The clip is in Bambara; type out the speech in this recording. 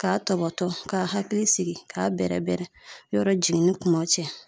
Ka tɔbɔtɔ ka hakili sigi ka bɛrɛbɛrɛ yɔrɔ jiginni kuma cɛ.